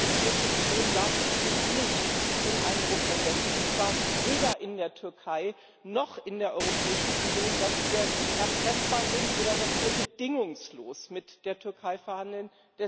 Die Europäische Union darf eben nicht den Eindruck erwecken und zwar weder in der Türkei noch in der Europäischen Union dass wir erpressbar sind oder dass wir bedingungslos mit der Türkei verhandeln.